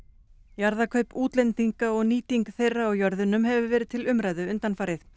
jarðakaup útlendinga og nýting þeirra á jörðunum hefur verið til umræðu undanfarið